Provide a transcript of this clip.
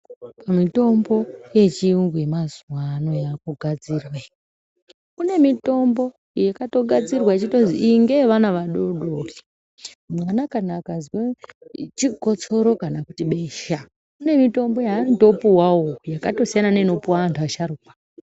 Mitombo ye chiyungu yema zuva ano yaku gadzirwe kune mitombo yakato gadzirwe yechitozi iyi ngeye vana vadodori mwana kana akazwa chikosoro kana kuti besha kune mitombo yanoto puwawo yakato siyana neino puwa antu asharukwa.